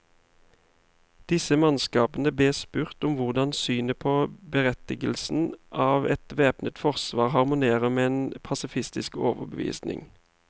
Disse mannskapene bes spurt om hvordan synet på berettigelsen av et væpnet forsvar harmonerer med en pasifistisk overbevisning.